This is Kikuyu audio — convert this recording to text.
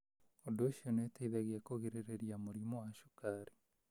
Ũndũ ũcio nĩ ũteithagia kũgirĩrĩria mũrimũ wa cukari.